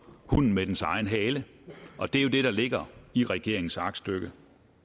hunden med dens egen hale og det er jo det der ligger i regeringens aktstykke